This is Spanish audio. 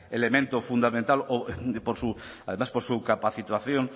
elemento fundamental o por su además por su capacitación